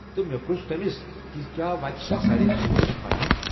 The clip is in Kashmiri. تہٕ مےٚ پُرژھ تٔمس کہِ زِ کیاہ وتہِ چھا سارے سہولیتہٕ فراہم۔